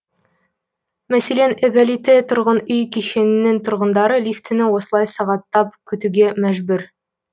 мәселен эгалите тұрғын үй кешенінің тұрғындары лифтіні осылай сағаттап күтуге мәжбүр